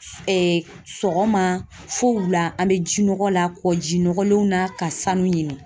sɔgɔma fo wula an be jinɔgɔ la kɔji nɔgɔlenw na ka sanu ɲini